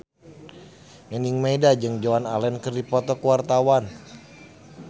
Nining Meida jeung Joan Allen keur dipoto ku wartawan